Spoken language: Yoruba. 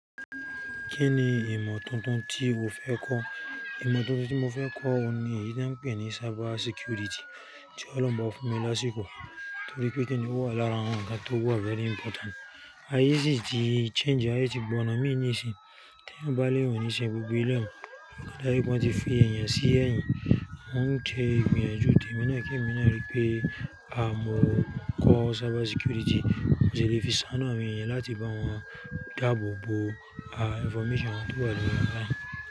Kí ni ìmọ̀ tuntun tí o fẹ́ kọ́? Ìmọ̀ tuntun tí mo fẹ́ kọ́ ni èyí tí wọ́n ń pè ní cyber security, tí Ọlọ́run bá fún mi lásìkò torí pé kíni ó wà lára àwọn ǹkan tó wà very important. Ayé yìí ti change, ayé ti gbọ̀ná mí nìíṣín. Teeyan bá léyan ò nìṣe gbogbo elẹ̀yi un, ile áyé gan ti fi èèyàn sí ẹ̀yìn. Mo ń ṣe ìgbìyànjú tèminia ki èmi náà rí i pé a mo kọ́ cyber security, mo ṣilé fi ṣáanu àwọn èèyàn láti bá wọn dáàbò bo, a, information wọn tó wa lori online.